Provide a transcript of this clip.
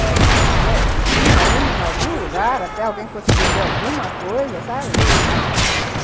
E aí, se tinha uma em algum lugar, até alguém conseguia ver alguma coisa, sabe, uhum.